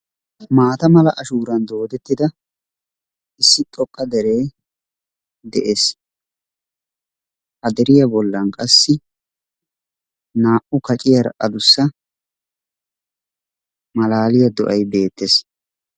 Maata mala ashuuran doodettida issi xooqqa deree de'ees. Ha deriyaa bollaan qassi naa"u kacciyaara adussa malaaliyaa do"ay bettees.